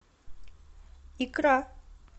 икра